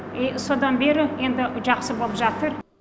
и содан бері енді жақсы боп жатыр